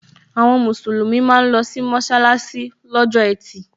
Àwọn musulumi máa ń losi mọsalasi lọ́jọ́ etí.